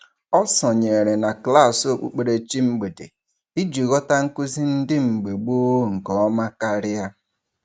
Ọ sonyere na klaasị okpukperechi mgbede iji ghọta nkụzi ndị mgbe gboo nke ọma karịa.